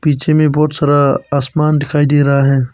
पीछे में बहुत सारा आसमान दिखाई दे रहा है।